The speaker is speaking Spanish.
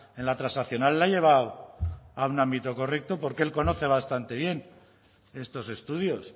en la transaccional ha llevado a un ámbito correcto porque él conoce bastante bien estos estudios